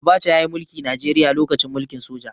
Abacha ya yi mulki Najeriya lokacin mulkin soja.